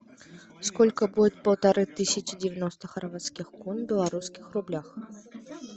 сколько будет полторы тысячи девяносто хорватских кун в белорусских рублях